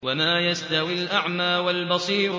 وَمَا يَسْتَوِي الْأَعْمَىٰ وَالْبَصِيرُ